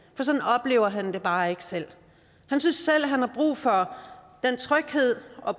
for sådan oplever han det bare ikke selv han synes selv han har brug for den tryghed og